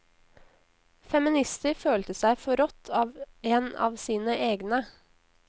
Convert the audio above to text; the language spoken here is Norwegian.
Feminister følte seg forrådt av en av sine egne.